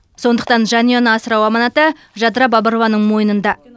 сондықтан жанұяны асырау аманаты жадыра бабырованың мойнында